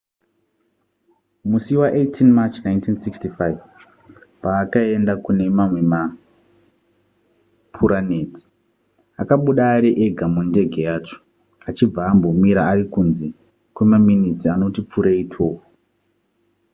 musi wa18 march 1965 paakaenda kune mamwe mapuraneti akabuda ari ega mundege yacho achibva ambomira ari kunze kwemaminitsi anoti pfuurei 12